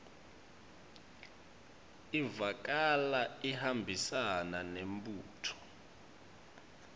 ivakala ihambisana nembuto